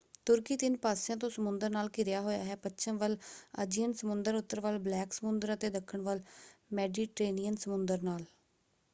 ਤੁਰਕੀ ਤਿੰਨ ਪਾਸਿਆਂ ਤੋਂ ਸਮੁੰਦਰ ਨਾਲ ਘਿਰਿਆ ਹੋਇਆ ਹੈ: ਪੱਛਮ ਵੱਲ ਅਜੀਅਨ ਸਮੁੰਦਰ ਉੱਤਰ ਵੱਲ ਬਲੈਕ ਸਮੁੰਦਰ ਅਤੇ ਦੱਖਣ ਵੱਲ ਮੈਡੀਟਰੇਨੀਅਨ ਸਮੁੰਦਰ ਨਾਲ।